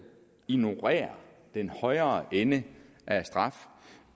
ignorerer den højere ende